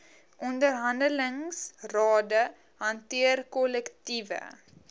onderhandelingsrade hanteer kollektiewe